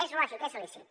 és lògic és lícit